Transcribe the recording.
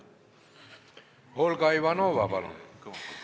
Olga Ivanova, palun!